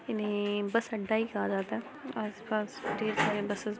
इन्हे बस अड्डा ही कहा जाता है आस-पास ढेर सारे बस ---